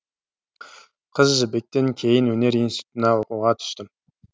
қыз жібектен кейін өнер институтына оқуға түстім